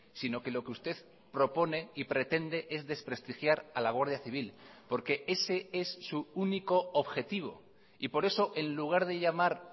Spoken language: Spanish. sino que lo que usted propone y pretende es desprestigiar a la guardia civil porque ese es su único objetivo y por eso en lugar de llamar